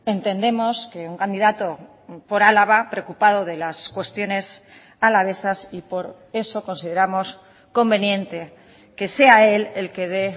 entendemos que un candidato por álava preocupado de las cuestiones alavesas y por eso consideramos conveniente que sea él el que dé